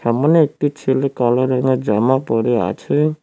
এমন একটি ছেলে কালো রঙের জামা পরে আছে।